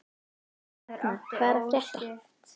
Ragna, hvað er að frétta?